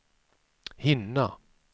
hinna